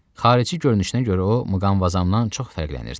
Xarici görünüşünə görə o, Muqamvazamdan çox fərqlənirdi.